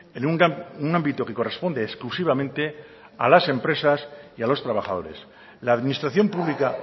en un ámbito que corresponde exclusivamente a las empresas y a los trabajadores la administración pública